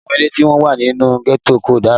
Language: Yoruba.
Àwọn ilé tí ó wà nínú gẹ́tò kò dára